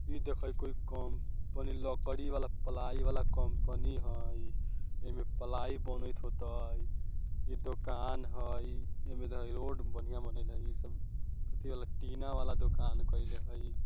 इ देखा कोई कंपनी लकड़ी वाला प्लाई वाला कंपनी हेय इमे प्लाई बनएत होएते इ दोकान हई एमे देखा रोड में बढ़िया बनेएले हेय इ सब अथी वाला टीना वाला दुकान केएले हेय।